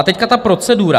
A teď ta procedura.